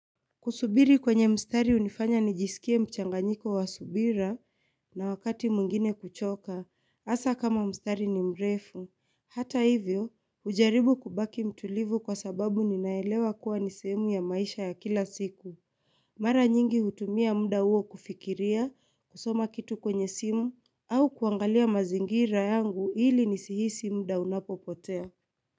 Kusubiri kwenye mstari hunifanya nijisikie mchanganyiko wa subira na wakati mwingine kuchoka hasa kama mstari ni mrefu hata hivyo hujaribu kubaki mtulivu kwa sababu ninaelewa kuwa nisehemu ya maisha ya kila siku Mara nyingi hutumia muda huo kufikiria kusoma kitu kwenye simu au kuangalia mazingira yangu ili nisihisi muda unapopotea.